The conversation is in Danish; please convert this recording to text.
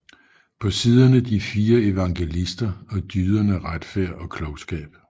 På siderne de fire evangelister og dyderne Retfærd og Klogskab